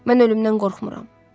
Mən ölümdən qorxmuram.